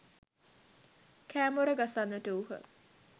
කෑ මොර ගසන්නට වූහ.